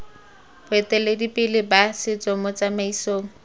boeteledipele ba setso mo tsamaisong